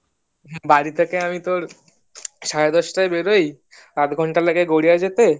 বাড়ি থেকে আমি তোর সাড়ে দশটায় বের হই আধ ঘন্টা লাগে গড়িয়ে যেতে